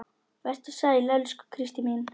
Vertu sæl, elsku Kristín mín.